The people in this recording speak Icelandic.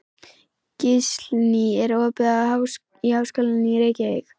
Gíslný, er opið í Háskólanum í Reykjavík?